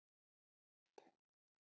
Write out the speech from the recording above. Hita upp